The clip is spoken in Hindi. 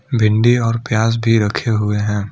भिंडी और प्याज भी रखे हुए हैं।